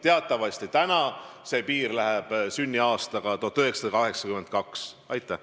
Teatavasti praegu see piir läheb sünniaasta 1982 juurest.